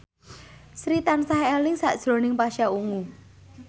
Sri tansah eling sakjroning Pasha Ungu